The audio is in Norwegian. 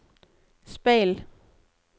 speil